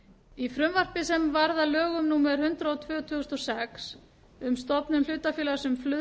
í frumvarpi sem varð að lögum númer hundrað og tvö tvö þúsund og sex um stofnun hlutafélags um